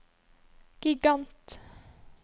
gigant